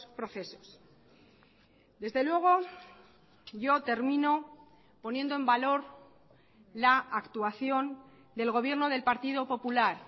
procesos desde luego yo termino poniendo en valor la actuación del gobierno del partido popular